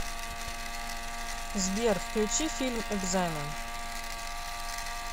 сбер включи фильм экзамен